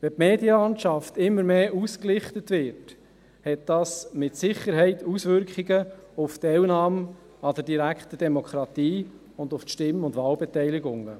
Wenn die Medienlandschaft immer mehr gelichtet wird, hat dies mit Sicherheit Auswirkungen auf die Teilnahme an der direkten Demokratie sowie auf die Stimm- und Wahlbeteiligung.